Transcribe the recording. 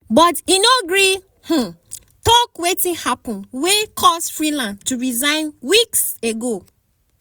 but e no gree um tok wetin happun wey cause freeland to resign weeks ago.